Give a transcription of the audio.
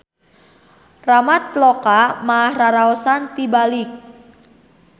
Ramatloka mah raraosan tibalik.